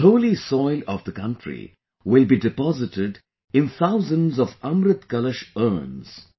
The holy soil of the country will be deposited in thousands of Amrit Kalash urns